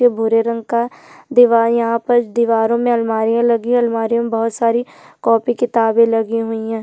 भूरे रंग का दिवार यहाँ पर दिवारों मे अलमारी लगी है अलमारी में बहोत सारी काफी किताबे लगी है।